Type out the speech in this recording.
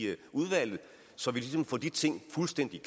udvalget så vi ligesom får de ting fuldstændig